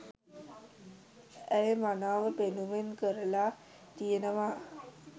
ඇය මනාව පෙන්නුම් කරලා තියෙනවා